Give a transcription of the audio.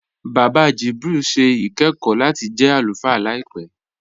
Bàbá Jibril n ṣẹ̀ ikẹ̀kọ̀ lati jẹ́ alúfáà làìpẹ.